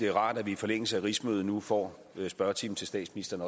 er rart at vi i forlængelse af rigsmødet nu får spørgetime til statsministeren